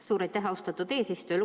Suur aitäh, austatud eesistuja!